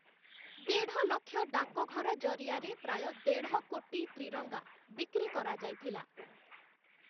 ଦେଢ଼ ଲକ୍ଷ ଡାକଘର ଜରିଆରେ ପ୍ରାୟ ଦେଢ଼ କୋଟି ତ୍ରିରଙ୍ଗା ବିକ୍ରି କରାଯାଇଥିଲା ।